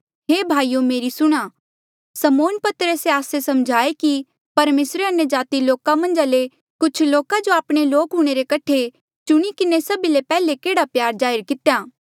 हे भाईयो मेरी सुणां समौन पतरसे आस्से समझाये कि परमेसरे अन्यजाति लोका मन्झा ले कुछ लोका जो आपणे लोक हूणे रे कठे चुणी किन्हें सभी ले पैहले केह्ड़ा प्यार जाहिर कितेया